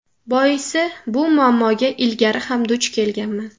Boisi bu muammoga ilgari ham duch kelganman.